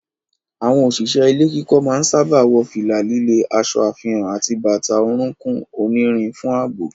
Àwọn òṣìṣẹ́ ilé kíkọ́ máa ń sáábà wọ fìlà líle, aṣọ àfihàn àti bàtà orúnkún onírin fún ààbò.